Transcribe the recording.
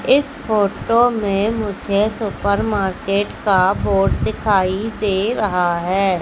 इस फोटो में मुझे सुपर मार्केट का बोर्ड दिखाई दे रहा है।